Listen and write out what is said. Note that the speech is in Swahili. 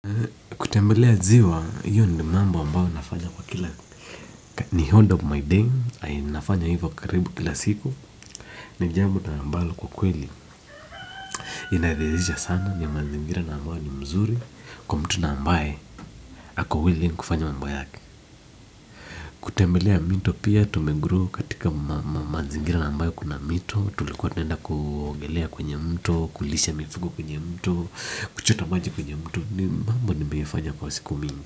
Kutembelea ziwa, hiyo ni mambo ambayo nafanya kwa kila, ni order of my day, nafanya hivyo karibu kila siku, ni jambo na ambalo kwa kweli. Inadhihirisha sana ni mazingira na ambayo ni mzuri, kwa mtu na ambaye, ako willing kufanya mambo yake. Kutembelea mito pia, tumegrow katika mazingira na ambayo kuna mito, tulikuwa tunaenda kuogelea kwenye mto, kulisha mifugo kwenye mto, kuchota maji kwenye mto, ni mambo nimeifanya kwa siku mingi.